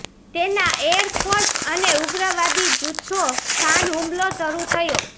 તેના air force અને ઉગ્રવાદી જૂથો સ્થાન હુમલો શરૂ થયો